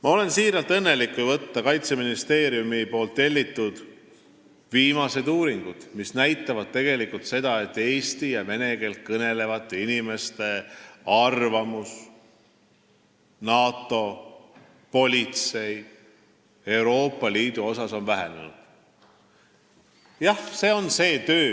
Ma olen siiralt õnnelik, et Kaitseministeeriumi tellitud viimased uuringud näitavad seda, et eesti ja vene keeles kõnelevate inimeste negatiivsed arvamused NATO, politsei ja Euroopa Liidu kohta on vähenenud.